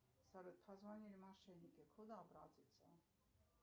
салют позвонили мошенники куда обратиться